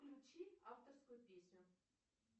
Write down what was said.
включи авторскую песню